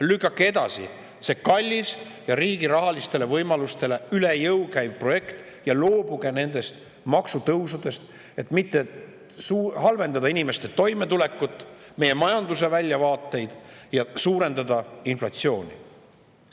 Lükake edasi see kallis ja riigi rahaliste võimaluste juures üle jõu käiv projekt ja loobuge nendest maksutõusudest, et mitte halvendada inimeste toimetulekut, meie majanduse väljavaateid ja suurendada inflatsiooni.